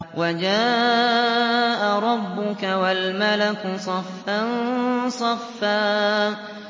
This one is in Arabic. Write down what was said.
وَجَاءَ رَبُّكَ وَالْمَلَكُ صَفًّا صَفًّا